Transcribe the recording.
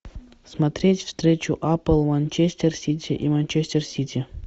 смотреть встречу апл манчестер сити и манчестер сити